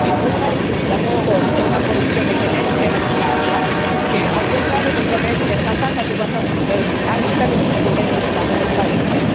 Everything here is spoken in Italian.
Eppure, la loro è una condizione genetica ereditaria che, al contrario, dovrebbe essere trattata adeguatamente anche dalle strutture sanitarie del Paese.